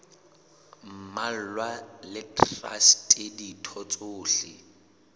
mmalwa le traste ditho tsohle